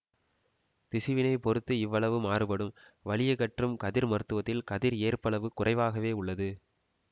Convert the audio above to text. திசுவினைப் பொறுத்து இவ்வளவு மாறுபடும் வலியகற்றும் கதிர் மருத்துவத்தில் கதிர் ஏற்பளவு குறைவாகவே உள்ளது